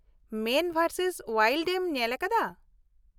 ᱢᱮᱱ versus wild ᱮᱢ ᱧᱮᱞ ᱟᱠᱟᱫᱟ ?